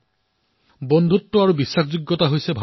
ভাৰতৰ পৰম্পৰা এয়াই যে বিশ্বাস আৰু মিত্ৰতা